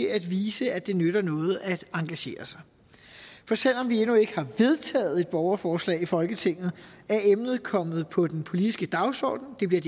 at vise at det nytter noget at engagere sig for selv om vi endnu ikke har vedtaget et borgerforslag i folketinget er emnet kommet på den politiske dagsorden det bliver